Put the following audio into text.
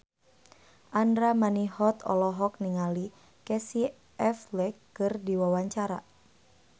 Andra Manihot olohok ningali Casey Affleck keur diwawancara